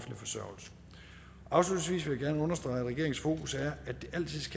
offentlig gerne understrege at regeringens fokus er